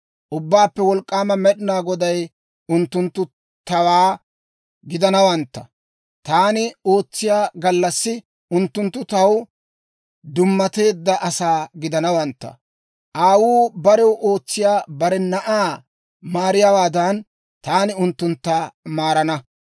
Ubbaappe Wolk'k'aama Med'ina Goday, «Unttunttu tawaa gidanawantta; taani ootsiyaa gallassi unttunttu taw dummateedda asaa gidanawantta; aawuu barew ootsiyaa bare na'aa maariyaawaadan, taani unttuntta maarana.